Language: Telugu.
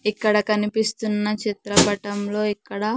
ఇక్కడ కనిపిస్తున్న చిత్రపటం లో ఇక్కడ--